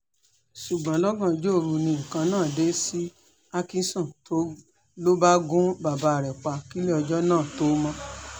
ṣùgbọ́n lọ́gànjọ́ òru ni nǹkan náà dé sí alksom ló bá gun bàbá rẹ̀ pa kílẹ̀ ọjọ́ náà tóo mọ̀